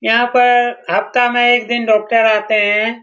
यहाँ पर हफ्ता में एक दिन डॉक्टर आते हैं।